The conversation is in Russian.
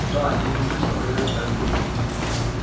да еле слышно произнёс эрби